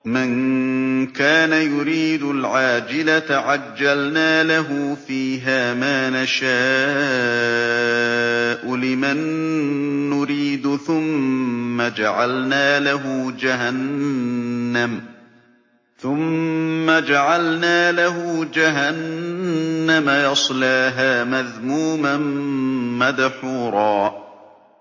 مَّن كَانَ يُرِيدُ الْعَاجِلَةَ عَجَّلْنَا لَهُ فِيهَا مَا نَشَاءُ لِمَن نُّرِيدُ ثُمَّ جَعَلْنَا لَهُ جَهَنَّمَ يَصْلَاهَا مَذْمُومًا مَّدْحُورًا